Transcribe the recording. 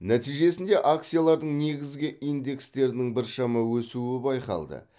нәтижесінде акциялардың негізгі индекстерінің біршама өсуі байқалды